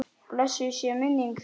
Blessuð sé minning þín!